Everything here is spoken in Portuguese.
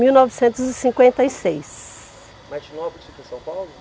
Mil novecentos e cinquenta e seis. Martinópolis fica em São Paulo?